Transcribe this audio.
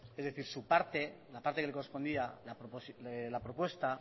es decir su parte la parte que le correspondía de la propuesta